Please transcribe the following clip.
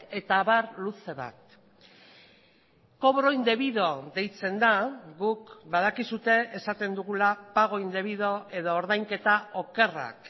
eta abar luze bat cobro indebido deitzen da guk badakizue esaten dugula pago indebido edo ordainketa okerrak